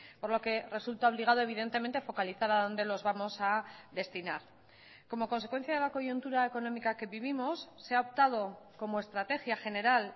por lo que resulta obligado evidentemente focalizar a dónde los vamos a destinar como consecuencia de la coyuntura económica que vivimos se ha optado como estrategia general